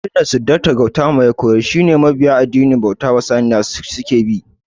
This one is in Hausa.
Karatun da Siddarta Gautama ya koyar shi mabiya addinin bauta wa Saniya suka bi